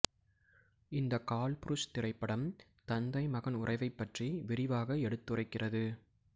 இந்த கால்புருஷ் திரைப்படம் தந்தைமகன் உறவைப் பற்றி விரிவாக எடுத்துரைக்கிறது